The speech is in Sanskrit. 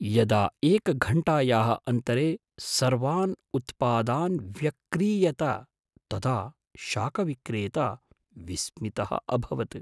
यदा एकघण्टायाः अन्तरे सर्वान् उत्पादान् व्यक्रीयत तदा शाकविक्रेता विस्मितः अभवत्।